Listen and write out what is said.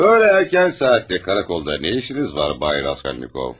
Böylə erkən saatdə karakolda nə işiniz var Bay Raskolnikov?